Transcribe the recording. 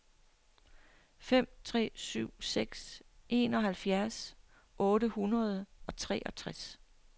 fem tre syv seks enoghalvfjerds otte hundrede og treogtres